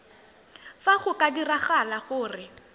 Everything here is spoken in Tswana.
fa go ka diragala gore